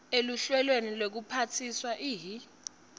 eluhlelweni lwekuphatsa ihi